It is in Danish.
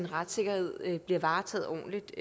retssikkerhed bliver varetaget ordentligt